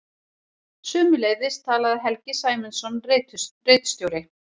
Sömuleiðis talaði Helgi Sæmundsson ritstjóri.